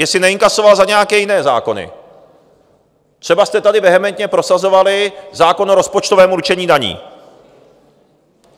Jestli neinkasoval za nějaké jiné zákony - třeba jste tady vehementně prosazovali zákon o rozpočtovém určení daní.